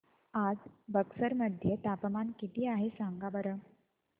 आज बक्सर मध्ये तापमान किती आहे सांगा बरं